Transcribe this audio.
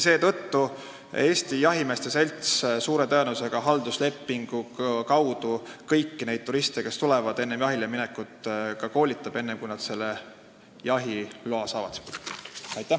Seetõttu Eesti Jahimeeste Selts, suure tõenäosusega halduslepinguid kasutades, kõiki neid turiste, kes siia tulevad, enne jahileminekut ja enne seda, kui nad jahiloa saavad, saab ka koolitada.